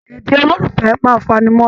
Èdè ololufẹ máa n fanimọra.